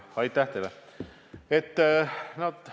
Aitäh teile!